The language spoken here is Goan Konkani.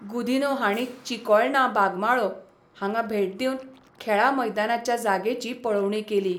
गुदिन्हो हांणी चिकोळणा बागमाळो हांगा भेट दिवन खेळां मैदानाच्या जागेची पळोवणी केली.